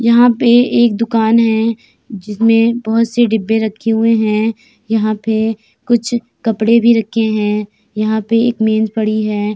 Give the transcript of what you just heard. यहाँ पे एक दुकान है जिसमे बहोत से डिब्बे रखे हुए हैं। यहाँ पे कुछ कपड़े भी रखे हैं। यहाँ पे एक पड़ी है।